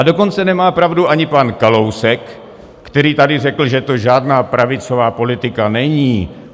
A dokonce nemá pravdu ani pan Kalousek, který tady řekl, že to žádná pravicová politika není.